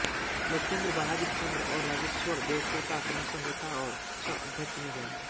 लोकेंद्र बहादुर चंद और राजेश्वर देवकोटा क्रमशः नेता और सहअध्यक्ष चुने गए